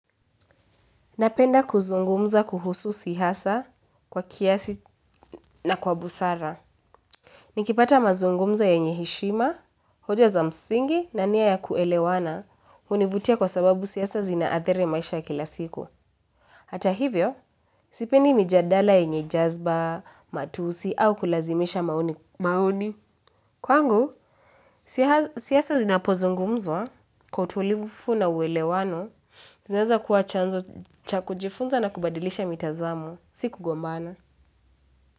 Napenda kuzungumza kuhusu siasa kwa kiasi na kwa busara. Nikipata mazungumzo yenye heshima, hoja za msingi na nia ya kuelewana hunivutia kwa sababu siasa zinaathiri maisha kila siku. Hata hivyo, sipendi mijadala yenye jazba, matusi au kulazimisha maoni. Maoni. Kwangu, siasa zinapozungumzwa kwa utulivu na uelewano, zinaweza kuwa chanzo cha kujifunza na kubadilisha mitazamo. Si kugombana.